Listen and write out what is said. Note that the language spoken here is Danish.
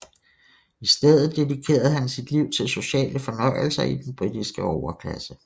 I stedet dedikerede han sit liv til sociale fornøjelser i den britiske overklasse